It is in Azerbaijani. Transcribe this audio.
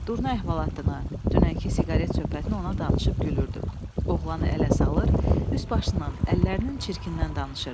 Durna əhvalatını, dünənki siqaret söhbətini ona danışıb gülürdüm, oğlanı ələ salır, üst-başından, əllərinin çirkindən danışırdım.